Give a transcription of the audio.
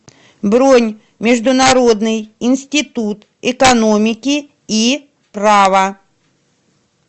бронь международный институт экономики и права